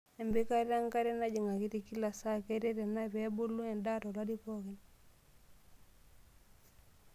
Empikata enkare najing' akiti kila saa, keret ena pee ebulu endaa tolari pookin.